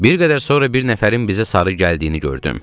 Bir qədər sonra bir nəfərin bizə sarı gəldiyini gördüm.